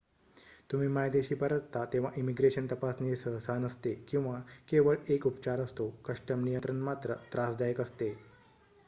तुम्ही मायदेशी परतता तेव्हा इमिग्रेशन तपासणी सहसा नसते किंवा केवळ एक उपचार असतो कस्टम नियंत्रण मात्र त्रासदायक असते